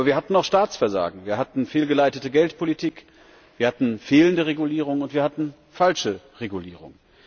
Aber wir hatten auch Staatsversagen, wir hatten fehlgeleitete Geldpolitik, wir hatten fehlende Regulierung, und wir hatten falsche Regulierung.